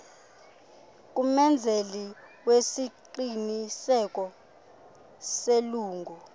kumenzeli wesiqinisekiso selungu